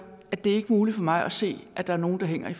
at det ikke er muligt for mig at se at der er nogle der hænger i